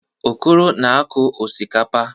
Okoro na-akụ osikapa.